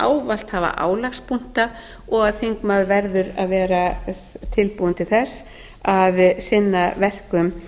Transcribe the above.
ávallt hafa álagspunkta og að þingmaður verður að vera tilbúinn til þess að sinna verkum